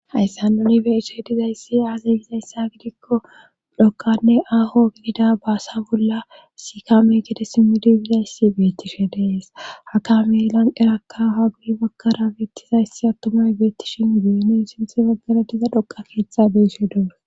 hayssa nuni beeishe dizayssi aazi gizayssa gidikko dhokkanne aaho gidida baasa bolla sikaame gede simi dibizayssi beettishe dees hakamelan erakka hagui bagkara beettizayssi attomay beettishin geenin sinthe baggara diza dhoqa keeththa beeshe duores